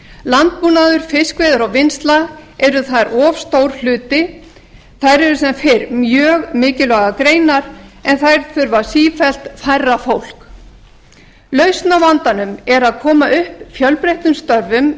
landbúnaður fiskveiðar og vinnsla eru þar of stór hluti þær eru þar sem fyrr mjög mikilvægar greinar en þær þurfa sífellt færra fólk lausn á vandanum er að koma upp fjölbreyttum störfum